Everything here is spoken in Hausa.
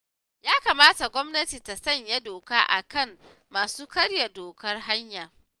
Ya kamata gwamnati ta sanya doka a kan masu karya dokar hanya